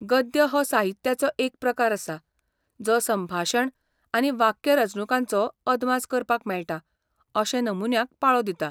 गद्य हो साहित्याचो एक प्रकार आसा जो संभाशण आनी वाक्यरचणूकांचो अदमास करपाक मेळटा अशे नमुन्यांक पाळो दिता.